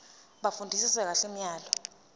bafundisise kahle imiyalelo